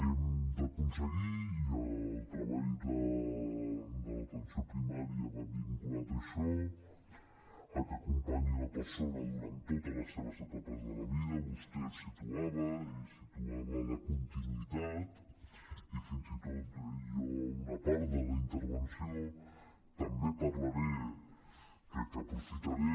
hem d’aconseguir i el treball de l’atenció primària va vinculat a això que acompanyi la persona durant totes les seves etapes de la vida vostè ho situava i en situava la continuïtat i fins i tot jo en una part de la intervenció també parlaré crec que aprofitaré